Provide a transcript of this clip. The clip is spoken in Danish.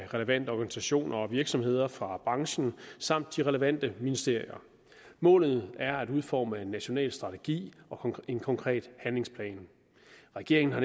relevante organisationer og virksomheder fra branchen samt de relevante ministerier målet er at udforme en national strategi og en konkret handlingsplan regeringen har